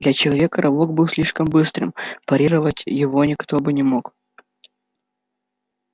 для человека рывок был слишком быстрым парировать его никто бы не мог